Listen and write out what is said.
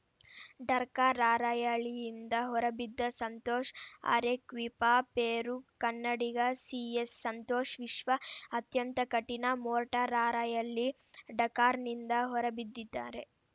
ಡರ್‌ಕಾ ರಾರ‍ಯಲಿಯಿಂದ ಹೊರಬಿದ್ದ್ದ ಸಂತೋಷ್‌ ಅರೆಕ್ವಿಪಾಪೆರು ಕನ್ನಡಿಗ ಸಿಎಸ್‌ಸಂತೋಷ್‌ ವಿಶ್ವ ಅತ್ಯಂತ ಕಠಿಣ ಮೋಟಾರ್‌ ರಾರ‍ಯಲಿ ಡಕಾರ್‌ನಿಂದ ಹೊರಬಿದ್ದಿದ್ದಾರೆ